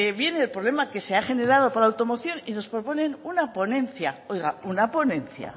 viene el problema que se ha generado por la automoción y nos proponen una ponencia oiga una ponencia